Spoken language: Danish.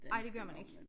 Ej det gør man ik